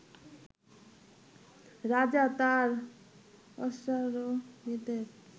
রাজা তাঁর অশ্বারোহীদের